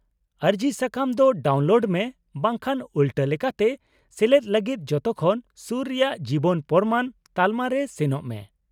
-ᱟᱹᱨᱡᱤ ᱥᱟᱠᱟᱢ ᱫᱚ ᱰᱟᱣᱩᱱᱞᱳᱰ ᱢᱮ ᱵᱟᱝᱠᱷᱟᱱ ᱩᱞᱴᱟᱹ ᱞᱮᱠᱟᱛᱮ ᱥᱮᱞᱮᱫ ᱞᱟᱹᱜᱤᱫ ᱡᱷᱚᱛᱚᱠᱷᱚᱱ ᱥᱩᱨ ᱨᱮᱭᱟᱜ ᱡᱤᱵᱚᱱ ᱯᱨᱚᱢᱟᱱ ᱛᱟᱞᱢᱟᱨᱮ ᱥᱮᱱᱚᱜ ᱢᱮ ᱾